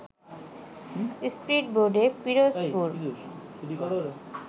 স্পীডবোটে Pirojpur